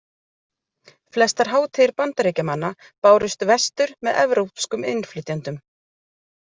Flestar hátíðir Bandaríkjamanna bárust vestur með evrópskum innflytjendum.